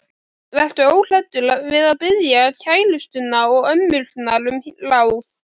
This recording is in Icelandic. Vertu óhræddur við að biðja kærustuna og ömmurnar um ráð.